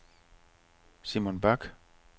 Simon Bach